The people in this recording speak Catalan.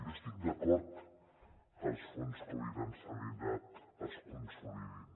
jo estic d’acord que els fons covid en sanitat es consolidin